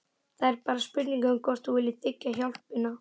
Það er bara spurning um hvort þú viljir þiggja hjálpina.